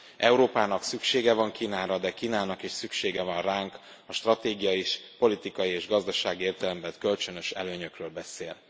Európának szüksége van Kínára, de Kínának is szüksége van ránk, a stratégia is politikai és gazdasági értelemben vett kölcsönös előnyökről beszél.